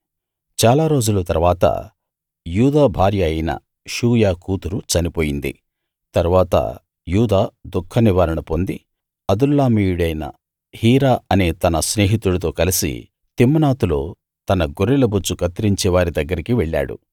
చాలా రోజుల తరువాత యూదా భార్య అయిన షూయ కూతురు చనిపోయింది తరువాత యూదా దుఃఖనివారణ పొంది అదుల్లామీయుడైన హీరా అనే తన స్నేహితుడితో కలిసి తిమ్నాతులో తన గొర్రెల బొచ్చు కత్తిరించే వారి దగ్గరికి వెళ్ళాడు